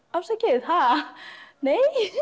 afsakið ha nei